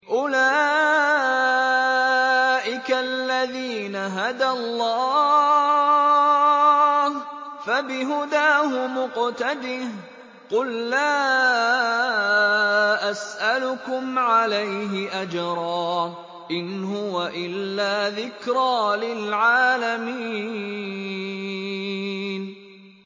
أُولَٰئِكَ الَّذِينَ هَدَى اللَّهُ ۖ فَبِهُدَاهُمُ اقْتَدِهْ ۗ قُل لَّا أَسْأَلُكُمْ عَلَيْهِ أَجْرًا ۖ إِنْ هُوَ إِلَّا ذِكْرَىٰ لِلْعَالَمِينَ